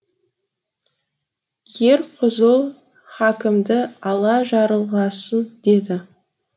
ерқұзұл хакімді алла жарылғасын деді